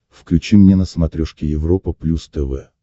включи мне на смотрешке европа плюс тв